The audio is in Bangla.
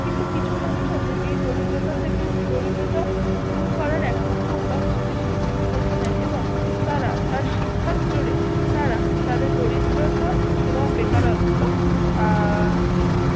কিন্তু কিছু মানুষ আছে এই দরিদ্রতা থেকে দরিদ্রতা দূর করার একমাত্র উপায় হিসাবে শিক্ষাকে বেছে নেই এবং তারা তার শিক্ষার জোরে তারা তাদের দরিদ্রতা এবং বেকারত্ব আহ